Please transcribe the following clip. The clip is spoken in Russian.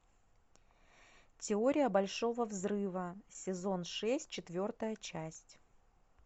теория большого взрыва сезон шесть четвертая часть